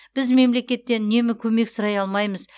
біз мемлекеттен үнемі көмек сұрай алмаймыз